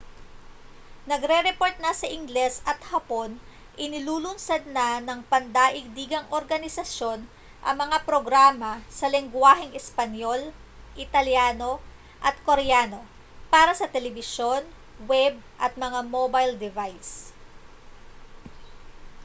nagrereport na sa ingles at hapon inilulunsad na ng pandaigdigang organisasyon ang mga programa sa lengguwaheng espanyol italyano at koreano para sa telebisyon web at mga mobile device